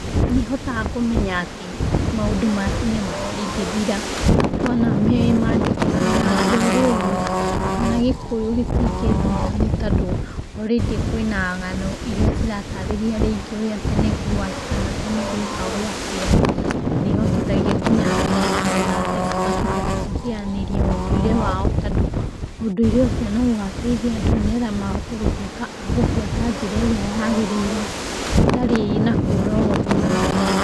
Nĩ hotaga kũmenya atĩ maũndũ ma tene matingĩthira wona me mandĩke kana rũrĩrĩ, kana gĩkũyũ gĩtingĩthira, nĩ tondũ already kwĩ na ngano ĩria ciratarĩria rĩngĩ ũrĩa tene kwarĩ kana tene gwekagwo atĩa, na nĩ ĩhotithagia nginya andũ kũmenya ona thaici matibatiĩ gũteanĩria ũndũire wao, tondũ ũndũire ũcio nĩ ũgateithia andũ nĩgetha mahote gũtũĩka agũbuata njĩra ĩria yagĩrĩire hatarĩ na kũra ũguo.